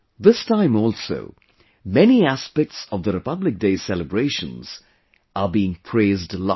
This time also many aspects of the Republic Day celebrations are being praised a lot